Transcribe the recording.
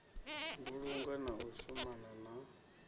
mbulungo na u shumana na